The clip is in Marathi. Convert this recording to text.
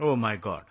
O my God